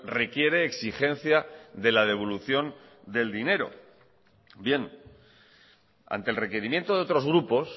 requiere exigencia de la devolución del dinero bien ante el requerimiento de otros grupos